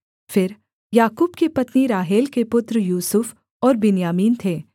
फिर याकूब की पत्नी राहेल के पुत्र यूसुफ और बिन्यामीन थे